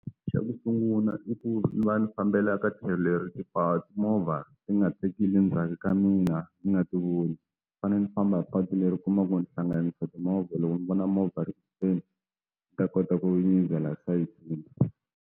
Xa ku sungula i ku ni va ni fambela ka tlhelo leri mimovha ti nga tsakili ndzhaku ka mina ni nga ti voni ni fanele ni famba hi patu leri u kumaka ku ni hlanganisa timovha loko ni vona movha ri kuteni mi ta kota ku nyizela sayizi.